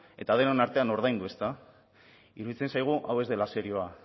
eta denon artean ordaindu ezta iruditzen zaigu hau ez dela serioa